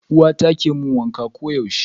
Uwata ke mun wanka koyaushe.